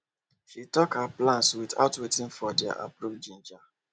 she talk her plans without waiting for their approve ginger